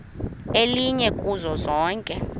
elinye kuzo zonke